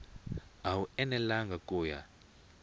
a wu enelangi ku ya